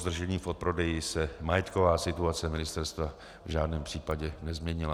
Pozdržením v odprodeji se majetková situace ministerstva v žádném případě nezměnila.